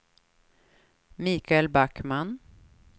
Michael Backman